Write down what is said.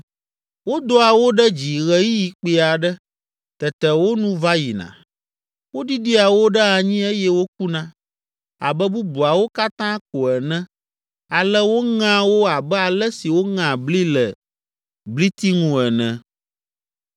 Wodoa wo ɖe dzi ɣeyiɣi kpui aɖe, tete wo nu va yina, woɖiɖia wo ɖe anyi eye wokuna abe bubuawo katã ko ene ale woŋea wo abe ale si woŋea bli le bliti ŋu ene.